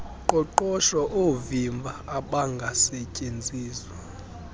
qoqosho oovimba obangasetyenziswa